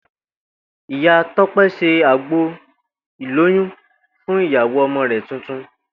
Ìyá Tó̩pé̩ se àgbo ìlóyún fún ìyàwó o̩mo̩ rè̩ tuntun